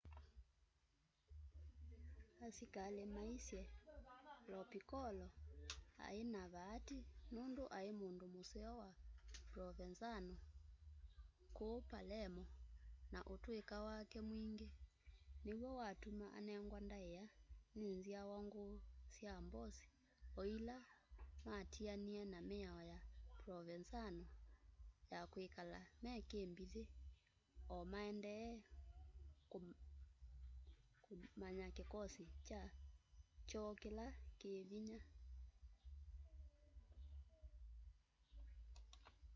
asikali maisye lo piccolo ai na vaati nundu ai mundu museo wa provenzano kuu palermo na utuika wake mwingi niw'o watuma anengwa ndaia ni nzyawa nguu sya mbosi o ila matianie na miao ya provenzano ya kwikala me kimbithi o maendee kumbany'a kikosi kyoo kila ki vinya